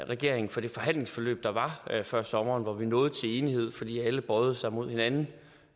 regeringen for det forhandlingsforløb der var før sommeren hvor vi nåede til enighed fordi alle bøjede sig mod hinanden